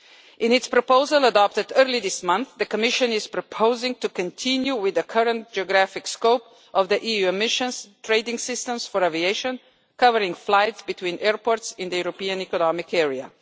In its proposal adopted earlier this month, the Commission is proposing to continue with the current geographic scope of the EU emissions trading systems for aviation, covering flights between airports in the European economic area.